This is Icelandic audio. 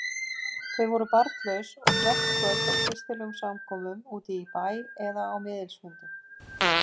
Þau voru barnlaus og flest kvöld á kristilegum samkomum úti í bæ eða miðilsfundum.